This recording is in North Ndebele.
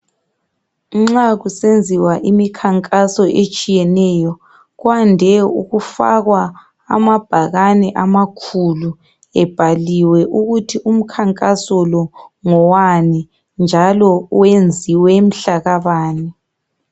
Nxa kusenziwa imikhankaso etshiyeneyo kwande ukufakwa amabhakane amakhulu ebhaliwe ukuthi umkhankaso lo ngowani njalo wenziwe mhlaka bani.